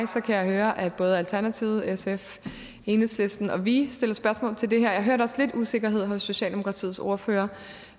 kan jeg høre at både alternativet sf enhedslisten og vi stiller spørgsmål til det her og jeg hørte også lidt usikkerhed hos socialdemokratiets ordfører